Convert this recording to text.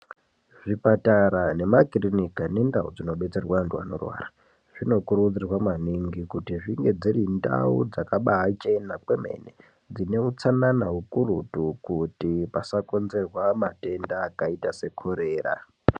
Zvipatara nemakirinika nendau dzinodetserwe anthu anorwara dzinokurudzirwa maningi kuti dzinge dziri ndau dzakabaachena kwemene dzine utsanana ukurutu kuti pasakonzerwa matenda akaita sekorera.